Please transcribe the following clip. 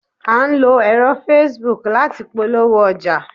a n lo ẹrọ Facebook lati polowo oja